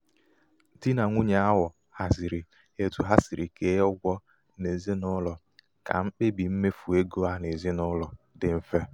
dị nà nwunye ahụ haziri etu ha siri kee ụgwọ n'ezinaulo ka mkpebi mmefu égo ha n'ezinaụlọ dị mfe.